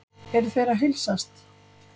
Eru þeir að heilsast?